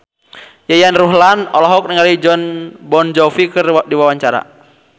Yayan Ruhlan olohok ningali Jon Bon Jovi keur diwawancara